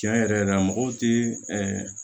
Tiɲɛ yɛrɛ yɛrɛ la mɔgɔw tɛ ɛɛ